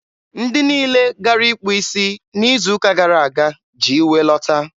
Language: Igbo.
ndị niile gara ịkpụ isi n'izu ụka gara aga ji iwe lọta.